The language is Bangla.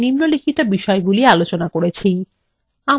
আমাদের ডাটাবেসএর উদ্দেশ্য নির্ধারণ